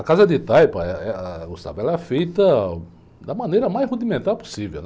A casa de taipo, eh, eh, ãh, ela é feita da maneira mais rudimentar possível, né?